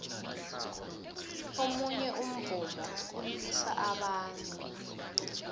omunye umvumo ulilisa abantu